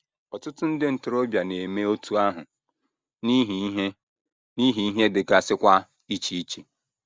Ọtụtụ ndị ntorobịa na - eme otú ahụ, n’ihi ihe, n’ihi ihe dịgasịkwa iche iche.